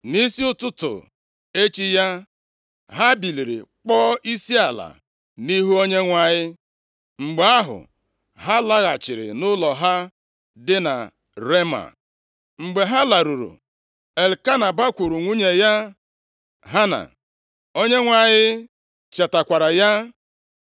Nʼisi ụtụtụ echi ya, ha biliri kpọọ isiala nʼihu Onyenwe anyị, mgbe ahụ, ha laghachiri nʼụlọ ha dị na Rema. Mgbe ha laruru, Elkena bakwuru nwunye ya Hana, Onyenwe anyị chetakwara ya.